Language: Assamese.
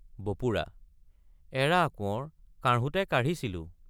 বপুৰা—এৰা কোঁৱৰ কাঢ়োঁতে কাঢ়িছিলোঁ।